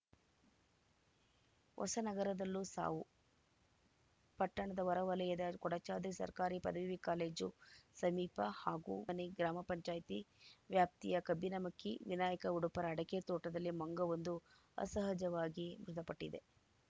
ಹೊಸನಗರದಲ್ಲೂ ಸಾವು ಪಟ್ಟಣದ ಹೊರ ವಲಯದ ಕೊಡಚಾದ್ರಿ ಸರ್ಕಾರಿ ಪದವಿ ಕಾಲೇಜು ಸಮೀಪ ಹಾಗೂ ಮನೆ ಗ್ರಾಮ ಪಂಚಾಯತಿ ವ್ಯಾಪ್ತಿಯ ಕಬ್ಬಿನಮಕ್ಕಿ ವಿನಾಯಕ ಉಡುಪರ ಅಡಕೆ ತೋಟದಲ್ಲಿ ಮಂಗವೊಂದು ಅಸಹಜವಾಗಿ ಮೃತಪಟ್ಟಿದೆ